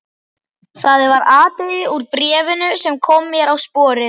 Það var atriði úr bréfinu sem kom mér á sporið.